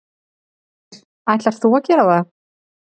Ætlar þú að gera það?